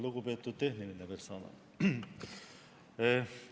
Lugupeetud tehniline personal!